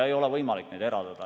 Ei ole võimalik neid eraldada.